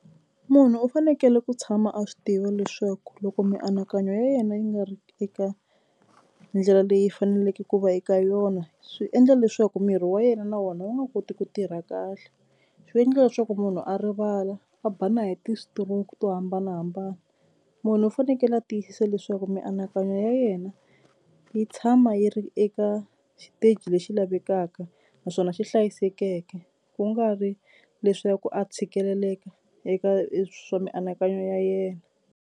Munhu u fanekele ku tshama a swi tiva leswaku loko mianakanyo ya yena yi nga ri eka ndlela leyi faneleke ku va eka yona swi endla leswaku miri wa yena na wona wu nga koti ku tirha kahle. Swi endla leswaku munhu a rivala a ba na hi ti-stroke to hambanahambana. Munhu u fanekele a tiyisisa leswaku mianakanyo ya yena yi tshama yi ri eka xiteji lexi lavekaka naswona xi hlayisekeke ku nga ri leswaku a tshikeleleka eka swa mianakanyo ya yena.